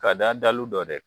Ka da dalu dɔ de